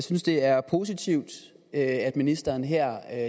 synes det er positivt at ministeren her